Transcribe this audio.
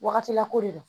Wagatila ko de don